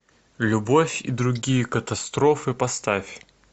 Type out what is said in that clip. любовь и другие катастрофы поставь